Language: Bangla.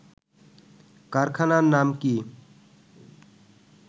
কারখানার নাম কি